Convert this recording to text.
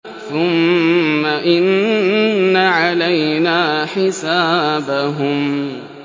ثُمَّ إِنَّ عَلَيْنَا حِسَابَهُم